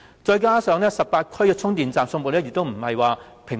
再者，各區的充電站分布亦不平均。